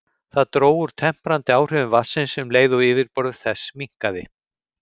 Það dró úr temprandi áhrifum vatnsins um leið og yfirborð þess minnkaði.